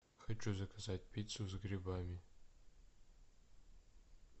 хочу заказать пиццу с грибами